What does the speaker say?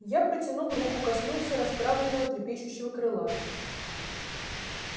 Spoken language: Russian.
я протянул руку коснулся расправленного трепещущего крыла